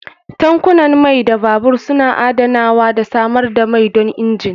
Tankunan mai na babur suna adanawa da samar da mai don injin.